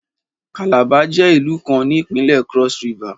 Calabar jẹ ilu kan ni Ipinle Cross-River